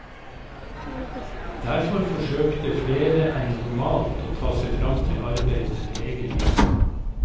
Derfor forsøkte flere enn normalt å ta seg frem til arbeidet med egen bil.